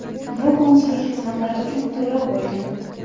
Bu konsullik xizmatlari uchun to‘lov bo‘lgan.